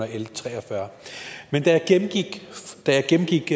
l tre og fyrre men da jeg gennemgik